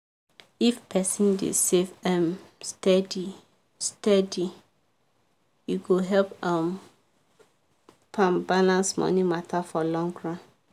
if person dey save um steady steady e go help um am balance money matter for long run.